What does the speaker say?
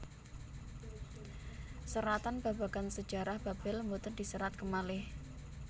Seratan babagan sajarah Babel boten diserat kemalih